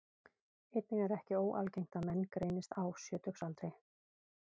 Einnig er ekki óalgengt að menn greinist á sjötugsaldri.